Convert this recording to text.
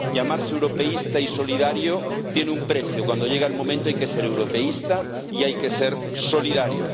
Llamarse europeísta y solidario tiene un precio cuando llega el momento, hay que ser europeísta y hay que ser solidario.